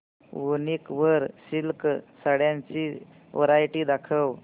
वूनिक वर सिल्क साड्यांची वरायटी दाखव